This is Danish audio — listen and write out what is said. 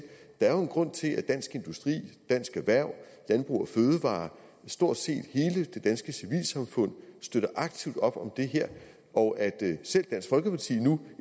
der er jo en grund til at dansk industri dansk erhverv landbrug fødevarer og stort set hele det danske civilsamfund støtter aktivt op om det her og at selv dansk folkeparti nu